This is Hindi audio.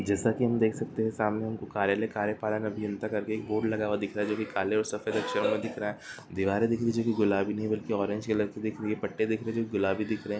जैसा कि हम देख सकते हैं सामने हमको कार्यालय कार्यपालन अभियंता का एक बोर्ड लगा हुआ दिख रहा है जो कि काले और सफेद अक्षरों में दिख रहा है दीवारे दिख रही हैं जो की गुलाबी नहीं बल्कि ऑरेंज कलर की दिख रही है पट्टे दिख रहे हैं जो की गुलाबी दिख रहे है।